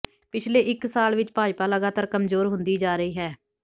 ਪਿਛਲੇ ਇਕ ਸਾਲ ਵਿਚ ਭਾਜਪਾ ਲਗਾਤਾਰ ਕਮਜੋਰ ਹੁੰਦੀ ਜਾ ਰਹੀ ਹੈ